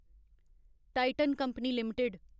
Titan company limited